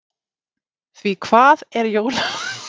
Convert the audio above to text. Því hvað er jólamatur án góðrar sósu?